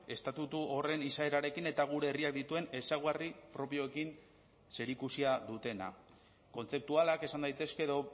estatutu horren izaerarekin eta gure herriak dituen ezaugarri propioekin zerikusia dutenak kontzeptualak esan daitezke edo